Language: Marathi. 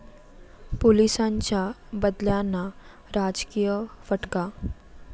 पोलिसांच्या बदल्यांना राजकीय फटका!